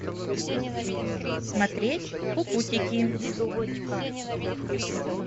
смотреть кукутики